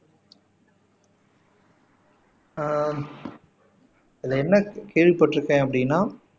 ஆஹ் இதுல என்ன கேள்விப்பட்டு இருக்கேன் அப்படின்னா